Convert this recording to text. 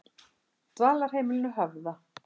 Dvalarheimilinu Höfða